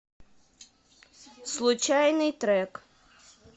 случайный трек